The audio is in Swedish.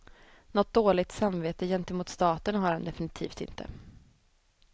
Något dåligt samvete gentemot staten har han definitivt inte.